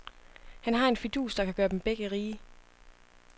Han har en fidus, der kan gøre dem begge rige.